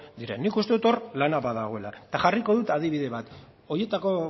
diren nik uste dut hor lana badagoela eta jarriko dut adibide bat horietako